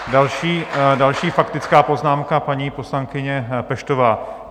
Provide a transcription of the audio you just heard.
Další faktická poznámka, paní poslankyně Peštová.